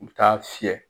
U bɛ taa fiyɛ